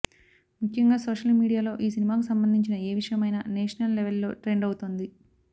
ముఖ్యంగా సోషల్ మీడియాలో ఈ సినిమాకు సంబంధించిన ఏ విషయమైనా నేషనల్ లెవెల్లో ట్రెండ్ అవుతోంది